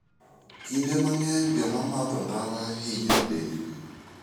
Kinde mang'eny joma madho ndawa hinyo dendgi.